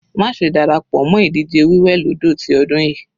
Má ṣe dára pọ̀ mọ́ ìdíje wí wẹ̀ lódò ti ọdún yìí.